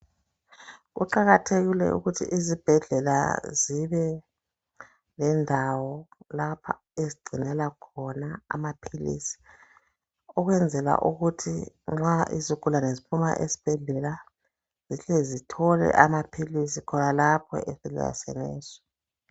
Kuqakathekile ukuthi izibhedlela zibe lendawo lapha ezigcinela khona amaphilisi ukwenzela ukuthi nxa izigulane ziphuma esibhedlela zihle zithole amaphilisi khonalapho esibhedlela sonaleso.